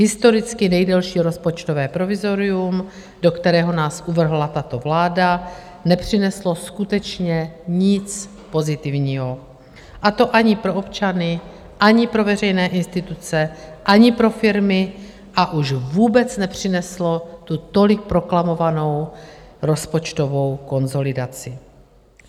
Historicky nejdelší rozpočtové provizorium, do kterého nás uvrhla tato vláda, nepřineslo skutečně nic pozitivního, a to ani pro občany, ani pro veřejné instituce, ani pro firmy, a už vůbec nepřineslo tu tolik proklamovanou rozpočtovou konsolidaci.